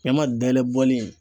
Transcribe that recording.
Ɲama dayɛlɛ bɔli in